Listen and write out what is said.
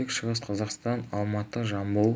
тек шығыс қазақстан алматы жамбыл